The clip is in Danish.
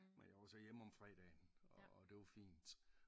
Men jeg var så hjemme om fredagen og det var fint